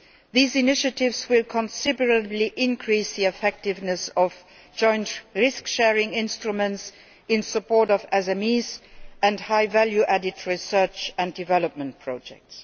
These initiatives will considerably increase the effectiveness of joint risk sharing instruments in support of SMEs and high value added research and development projects.